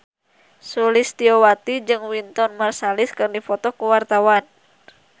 Sulistyowati jeung Wynton Marsalis keur dipoto ku wartawan